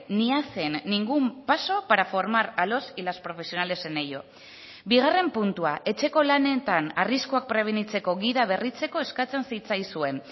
ni hacen ningún paso para formar a los y las profesionales en ello bigarren puntua etxeko lanetan arriskuak prebenitzeko gida berritzeko eskatzen zitzaizuen